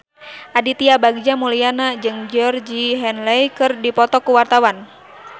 Aditya Bagja Mulyana jeung Georgie Henley keur dipoto ku wartawan